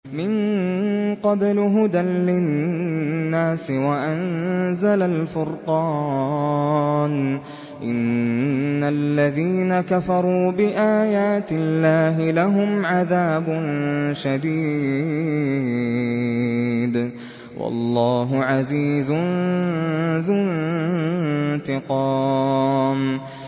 مِن قَبْلُ هُدًى لِّلنَّاسِ وَأَنزَلَ الْفُرْقَانَ ۗ إِنَّ الَّذِينَ كَفَرُوا بِآيَاتِ اللَّهِ لَهُمْ عَذَابٌ شَدِيدٌ ۗ وَاللَّهُ عَزِيزٌ ذُو انتِقَامٍ